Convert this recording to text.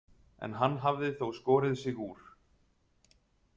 En hann hafði þó skorið sig úr.